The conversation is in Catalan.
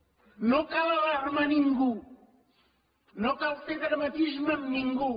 no cal alarmar ningú no cal fer dramatisme amb ningú